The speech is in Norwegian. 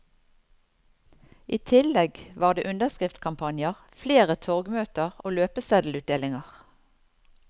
I tillegg var det underskriftskampanjer, flere torgmøter og løpeseddelutdelinger.